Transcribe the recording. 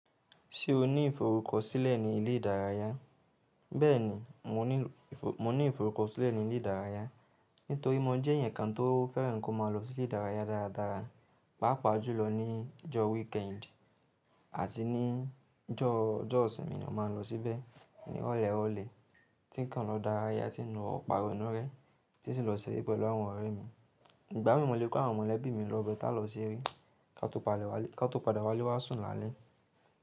Ṣé o ní ìforúkọ̀ sílẹ̀ ní ilẹ̀ ìdárayà? Bẹẹni, mò ní ìforúkọ̀ sílẹ̀ ní ilẹ̀ ìdárayà, nítorí mọ jẹ́ èèyàn kan tó fẹ́ràn kò ma lọ sí ilẹ̀ ìdárayà dáradára, pàápàá jùlọ̀ ní ìjọ̀ weekend àti ní ìjọ̀ isinmi ni máa n lọ síbẹ̀ ní irọ̀lẹ̀ irọ̀lẹ̀. Tí nǹkan lọ̀ dárayà tí n lò pàrọ̀ nú rẹ̀, tí sì lọ̀ sẹ̀rẹ̀ pẹ̀lú àwọn ọ̀rẹ̀ mi. Ìgbà mí mọ̀lẹ́ kò àwọn mọlẹbi mi lọ bẹẹ, tà lọ̀ sẹ̀rẹ̀, ká tun padà wálé wa sùn làlẹ̀.